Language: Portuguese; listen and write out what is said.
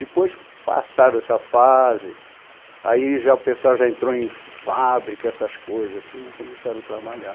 Depois passaram essa fase, aí já o pessoal já entrou em fábrica, essas coisas assim, e começaram a trabalhar.